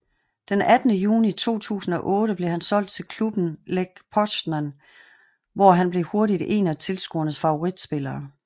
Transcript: Den 18 juni 2008 blev han solgt til klubben Lech Poznan hvor han blev hurtigt en af tilskuernes favorit spillere